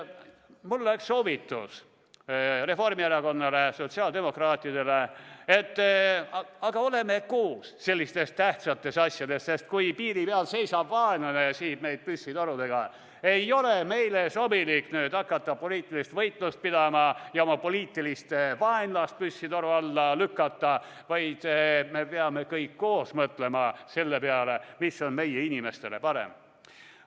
Mul on Reformierakonnale ja sotsiaaldemokraatidele soovitus, et oleme sellistes tähtsates asjades koos, sest kui piiri peal seisab vaenlane ja sihib meid püssitorudega, ei ole meil sobilik hakata poliitilist võitlust pidama ja oma poliitilist vaenlast püssitoru ett lükkama, vaid me peame kõik koos mõtlema selle peale, mis on meie inimestele parem.